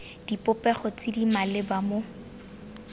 dipopego tse di maleba mo